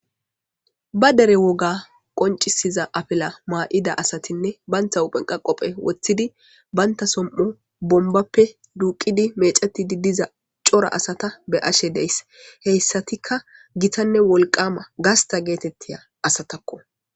Ba dereb woga qonc'iza afila ma'ida asatine banta huphen qa qophe wotidi banta som'o bombape duqidi mec'etidi diza c'ora asata be'ashe deys heysatika gitane wolqama gasta getetiya asatako.